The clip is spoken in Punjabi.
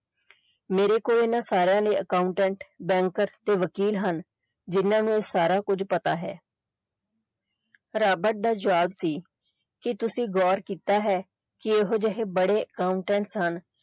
ਮੇਰੇ ਕੋਲ ਇਹਨਾਂ ਸਾਰਿਆਂ ਲਈ accountant bank ਤੇ ਵਕੀਲ ਹਨ ਜਿੰਨਾ ਨੂੰ ਸਾਰਾ ਕੁਝ ਪਤਾ ਹੈ ਰਾਬਰਟ ਦਾ ਜਵਾਬ ਸੀ ਕਿ ਤੁਸੀਂ ਗੌਰ ਕੀਤਾ ਹੈ ਕਿ ਇਹੋ ਜਿਹੇ ਬੜੇ accountant ਸਨ।